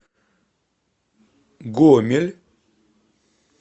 гомель